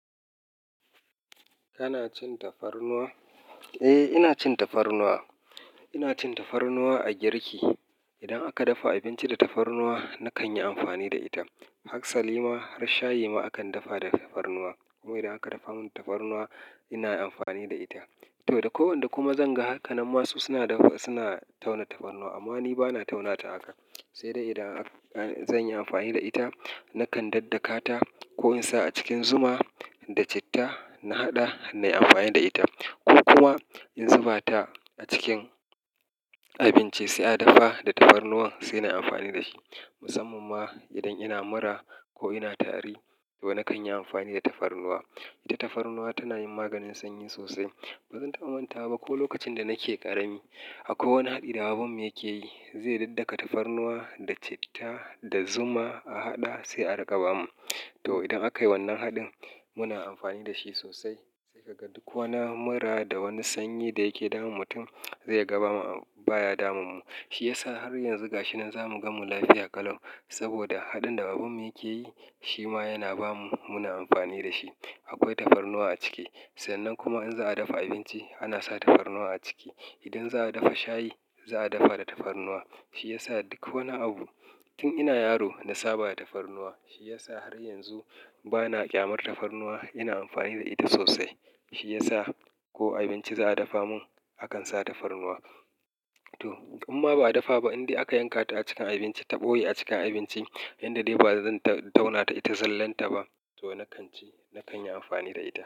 Kana cin tafarnuwa? Eh, ina cin tafarnuwa. Ina cin tafarnuwa a girki. Idan aka dafa abinci da tafarnuwa, na kan yi amfani da ita. Aka sari ma har shayi ma akan dafa da tafarnuwa. Kuma idan aka dafa mun tafarnuwa, ina amfani da ita. To da kwai wanda kuma zan ga haka. Nan masu suna dafa, suna tauna tafarnuwa amma ni bana tauna ta haka. Sai dai idan zan yi amfani da ita, na kan daddaka ta ko in sa a cikin zuma da citta na haɗa na yi amfani da ita. Ko kuma in zuba ta a cikin abinci sai an dafa da tafarnuwa sai na yi amfani da shi. Musamman ma idan ina mura ko ina tari to na kan yi amfani da tafarnuwa. Ita tafarnuwa tana yin maganin sanyi sosai. Ba zan taba manta wa ba ko lokacin da nake ƙarami, akwai wani haɗi da babanmu yake yi, zai daddaka tafarnuwa da citta da zuma a haɗa sai a riƙa bamu. To idan akayi wannan haɗin muna amfani da shi sosai. Sai ka ga duk wani mura da wani sanyi da yake damun mutum zai ga bama baya damun mu. Shi yasa har yanzu gashi nan za mu gan mu lafiya ƙalau. Saboda haɗin da baban mu yake yi shi ma yana ba mu, muna amfani da shi. Akwai tafarnuwa a ciki. Sannan kuma in za'a dafa abinci, ana sa tafarnuwa a ciki. Idan za'a dafa shayi, za'a dafa da tafarnuwa. Shi yasa duk wani abu tun ina yaro na saba da tafarnuwa. Shi yasa har yanzu bana ƙyamar tafarnuwa, ina amfani da ita sosai. Shi yasa ko abinci za'a dafa mun akan sa tafarnuwa. To imma ba a dafa ba, indai aka yanka ta a cikin abinci ta ɓoye a cikin abinci, inda dai ba zan tauna ta, ita zallan ta ba to na kan ci, na kan yi amfani da ita.